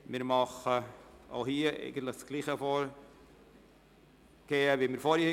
Wir gehen hier gleich vor wie vorhin.